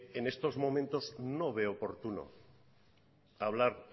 en estos momentos no veo oportuno hablar